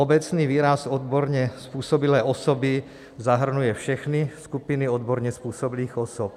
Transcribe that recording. Obecný výraz odborně způsobilé osoby zahrnuje všechny skupiny odborně způsobilých osob.